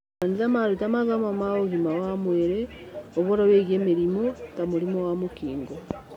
Makanitha maruta mathomo ma ũgima wa mwĩrĩ ũhoro wĩgiĩ mĩrimũ ta mũrimũ wa mũkingo.